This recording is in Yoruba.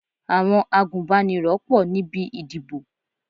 Àwọn agúnbánirọ̀ pọ̀ níbi ìdìbò.